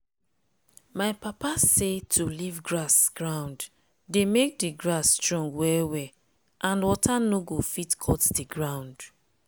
my papa say to leave grass ground dey make d grass strong well well and water nor go fit cut the ground.